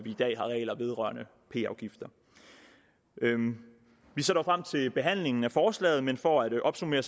i dag har regler vedrørende p afgifter vi ser dog frem til behandlingen af forslaget men for at opsummere